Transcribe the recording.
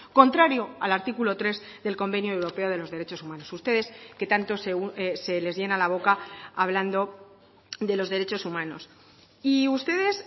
contrario al artículo tres del convenio europeo de los derechos humanos ustedes que tanto se les llena la boca hablando de los derechos humanos y ustedes